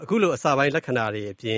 အခုလို အစပိုင်းလက္ခဏာတွေအပြင